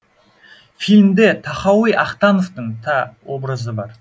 фильмде тахауи ахтановтың та образы бар